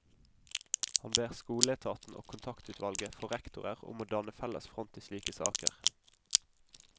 Han ber skoleetaten og kontaktutvalget for rektorer om å danne felles front i slike saker.